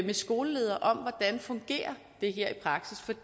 med skoleledere her fungerer